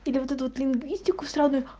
тебе выдадут лингвистику сраную